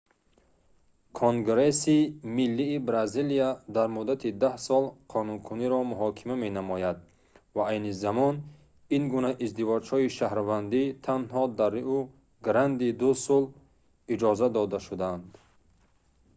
конгресси миллии бразилия дар муддати 10 сол қонуникуниро муҳокима менамояд ва айни замон ин гуна издивоҷҳои шаҳрвандӣ танҳо дар риу-гранди-ду-сул иҷозат дода шудаанд